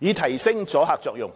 以提升阻嚇作用。